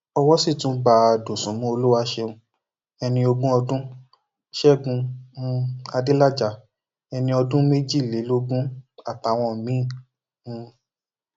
owó sì tún bá dosùnmù olùwàṣẹun ẹni ogún ọdún ṣẹgun um adélájà ẹni ọdún méjìlélógún àtàwọn míín um